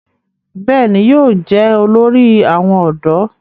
bẹ́ẹ̀ni, yóò jẹ́ olórí àwọn ọ̀dọ́